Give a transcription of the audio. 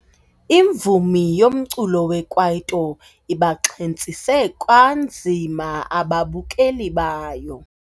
Imvumi yomculo wekwaito ibaxhentsise kwanzima ababukeli bayo.